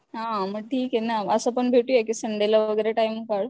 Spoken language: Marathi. ह्ह ठीके ना मग असं पण भेटूया कि संडे ला वगैरे टाइम काढ.